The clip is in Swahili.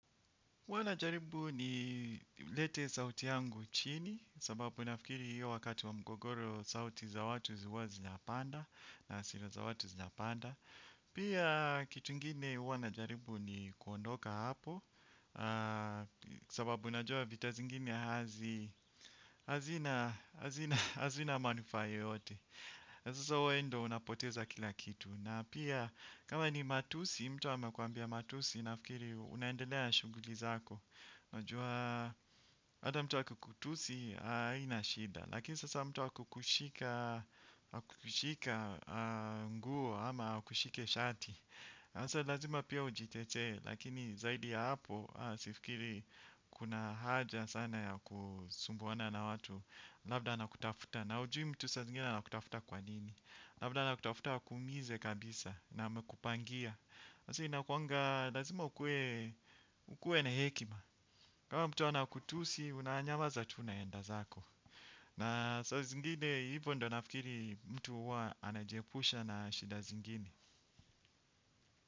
Huwa najaribu nilete sauti yangu chini, sababu nafikiri hiyo wakati wa mgogoro sauti za watu huwa zinapanda na asira za watu zinapanda. Pia kitu ingine huwa najaribu ni kuondoka hapo, sababu najua vita zingine hazina manufaa yeyote. Sasa wewe ndo unapoteza kila kitu. Na pia kama ni matusi mtu amekuambia matusi nafikiri unaendelea shuguli zako. Najua hata mtu akikutusi haina shida. Lakini sasa mtu akukushika nguo ama akushike shati asa lazima pia ujitetee. Lakini zaidi ya hapo sifikiri kuna haja sana ya kusumbuana na watu. Labda anakutafuta. Na ujui mtu sa zingine anakutafuta kwa nini. Labda anakutafuta akuumize kabisa. Na amekupangia sasa inakuanga lazima ukue na hekima. Kama mtu anakutusi unanyamaza tu unaenda zako. Na saa zingine hivyo ndo nafikiri. Mtu huwa anajiepusha na shida zingine.